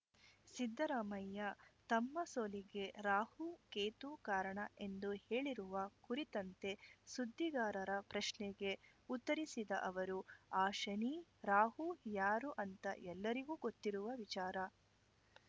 ಸಿದ್ದರಾಮಯ್ಯ ತಮ್ಮ ಸೋಲಿಗೆ ರಾಹು ಕೇತು ಕಾರಣ ಎಂದು ಹೇಳಿರುವ ಕುರಿತಂತೆ ಸುದ್ದಿಗಾರರ ಪ್ರಶ್ನೆಗೆ ಉತ್ತರಿಸಿದ ಅವರು ಆ ಶನಿ ರಾಹು ಯಾರು ಅಂತ ಎಲ್ಲರಿಗೂ ಗೊತ್ತಿರುವ ವಿಚಾರ